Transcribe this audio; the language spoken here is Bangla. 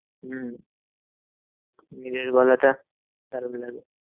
হম দিনের বেলাটা দারুন লাগে।